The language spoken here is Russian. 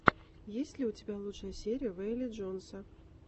есть ли у тебя лучшая серия вэйла джонса